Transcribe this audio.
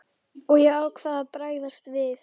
Og ég ákvað að bregðast við.